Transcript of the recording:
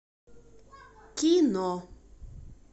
кино